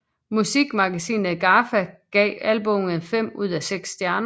Musikmagasinet GAFFA gav albummet fem ud af seks stjerner